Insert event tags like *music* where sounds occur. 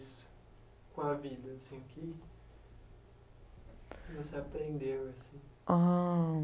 *unintelligible* o que você aprendeu assim?